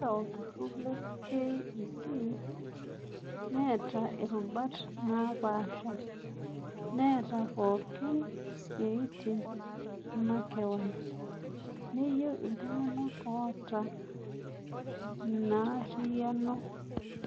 Eeta olturrur le KEC neeta irubat naapasha, neeta pookin isiaitin makeon, neyeu iltung'anak oota ina arriyano.